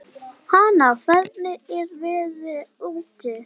Hanna, hvernig er veðrið úti?